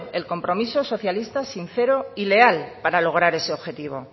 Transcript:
el compromiso es socialista sincero y leal para lograr ese objetivo